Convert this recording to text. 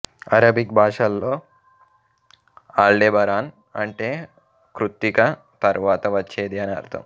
Arabic భాషలో Aldebaran అంటే కృత్తిక తరువాత వచ్చేది అని అర్థం